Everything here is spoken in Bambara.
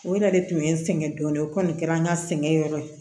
O yɛrɛ de tun ye n sɛgɛn dɔɔnin o kɔni kɛra an ka sɛgɛn yɔrɔ ye